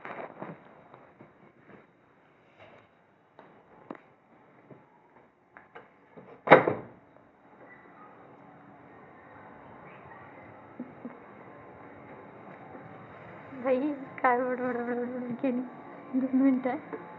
बाई, काय बडबड केली?